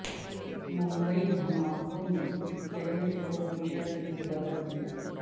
ممبئی دھماکوں نے شہر کو ہمیشہ کے لیے بدل دیا